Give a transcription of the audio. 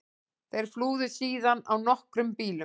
Þeir flúðu síðan á nokkrum bílum